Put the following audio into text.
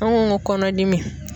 An ko ko kɔnɔdimi.